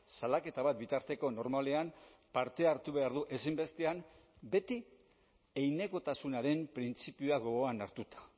salaketa bat bitarteko normalean parte hartu behar du ezinbestean beti heinekotasunaren printzipioa gogoan hartuta